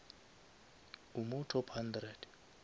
o mo top hundred